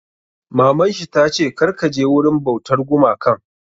Maman shi ta ce 'Kar ka je wurin bautar gumakan'!